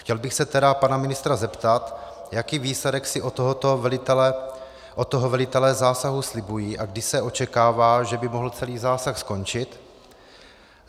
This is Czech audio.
Chtěl bych se tedy pana ministra zeptat, jaký výsledek si od toho velitelé zásahu slibují a kdy se očekává, že by mohl celý zásah skončit.